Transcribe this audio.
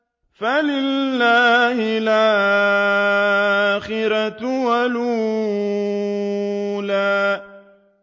فَلِلَّهِ الْآخِرَةُ وَالْأُولَىٰ